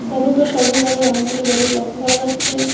হলুদ ও সবুজ রঙের অনেকগুলি বেলুন লক্ষ্য করা যাচ্ছে।